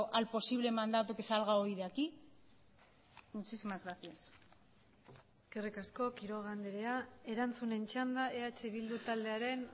al posible mandato que salga hoy de aquí muchísimas gracias eskerrik asko quiroga andrea erantzunen txanda eh bildu taldearen